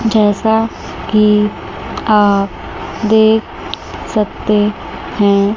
जैसा कि आप देख सकते हैं।